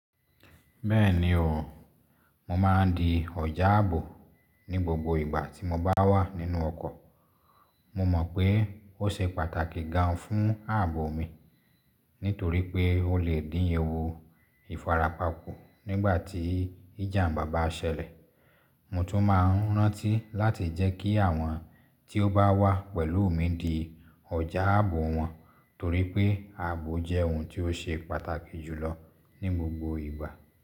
Bẹ́ẹ̀ni o, mo ma ń di ọ̀já àbò ní gbogbo ìgbà tí mo bá wà nínú ọkọ̀. Mo mọ̀ pé ó ṣe pàtàkì gan fún ààbò mi nítorí pé ó lè dín ewu ìfarapa kù nígbà tí ìjàmbá bá ṣẹlẹ̀. Mo tún ma ń rántí láti jẹ́ kí àwọn tí ó bá wà pẹ̀lú mi di ọjà àbò wọn torí pé àbò jẹ́ ohun ti o ṣe pàtàkì jù lọ ní gbogbo ìgbà.